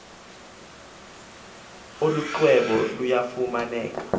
olu xwebhu luyafumaneka